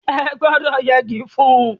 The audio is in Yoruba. Ẹ gbọ́dọ̀ yẹgi fún-ún!